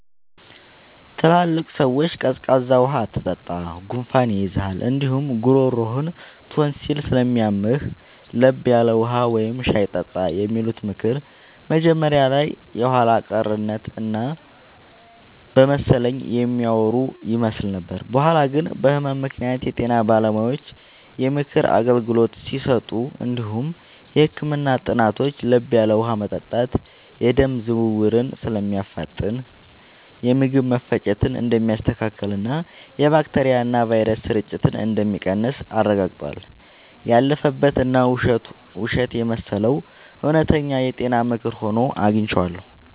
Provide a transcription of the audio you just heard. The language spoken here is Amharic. ትላልቅ ሰዎች “ቀዝቃዛ ውሃ አትጠጣ፣ ጉንፋን ይይዝሃል እንዲሁም ጉሮሮህን ቶንሲል ስለሚያምህ፤ ለብ ያለ ውሃ ወይም ሻይ ጠጣ” የሚሉት ምክር መጀመሪያ ላይ የኋላ ቀርነት እና በመሰለኝ የሚያወሩ ይመስል ነበር። በኋላ ግን በህመም ምክንያት የጤና ባለሙያዎች የምክር አገልግሎት ሲሰጡ እንዲሁም የህክምና ጥናቶች ለብ ያለ ውሃ መጠጣት የደም ዝውውርን እንደሚያፋጥን፣ የምግብ መፈጨትን እንደሚያስተካክልና የባክቴሪያና ቫይረስ ስርጭትን እንደሚቀንስ አረጋግጠዋል። ያለፈበት እና ውሸት የመሰለው እውነተኛ የጤና ምክር ሆኖ አግኝቼዋለሁ።